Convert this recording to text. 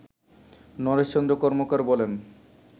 নরেশ চন্দ্র কর্মকার বলেন